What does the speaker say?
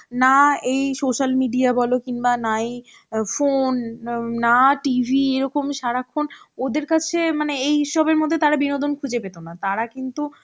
না এই social media বল কিনবা নাই phone আম না TV এরকম সারাক্ষণ ওদের কাছে মানে এই সবের মধ্যে তারা বিনোদন খুঁজে পেত না তারা কিন্তু